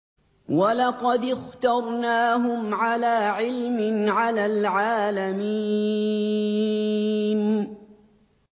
وَلَقَدِ اخْتَرْنَاهُمْ عَلَىٰ عِلْمٍ عَلَى الْعَالَمِينَ